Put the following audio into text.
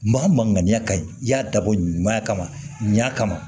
Maa maaya ka y'a dabɔ ɲumanya kama